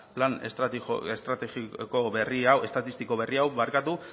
plan estatistiko berri hau